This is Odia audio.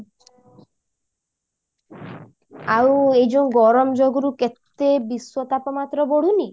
ଆଉ ଏ ଯୋଉ ଗରମ ଯୋଗୁରୁ କେତେ ବିଶ୍ଵ ତାପମାତ୍ରା ବଢୁନି